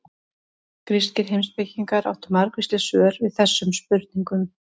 Grískir heimspekingar áttu margvísleg svör við þessum spurningum.